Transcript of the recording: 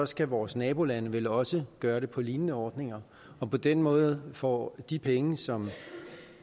skal vores nabolande vel også gøre det på lignende ordninger for på den måde får de penge som